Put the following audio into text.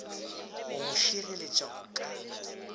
go go šireletša go ka